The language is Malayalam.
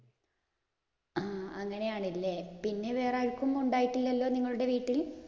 ആ അങ്ങനെയാണ് അല്ലേ. പിന്നെ വേറേയാര്‍ക്കും ഉണ്ടായിട്ടില്ലല്ലോ നിങ്ങളുടെ വീട്ടിൽ?